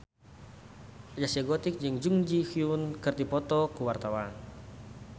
Zaskia Gotik jeung Jun Ji Hyun keur dipoto ku wartawan